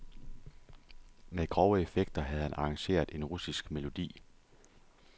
Med grove effekter havde han arrangeret en russisk melodi.